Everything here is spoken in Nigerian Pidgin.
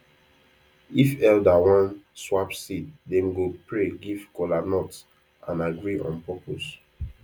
if elder wan swap seed dem go pray give kola nut and agree on purpose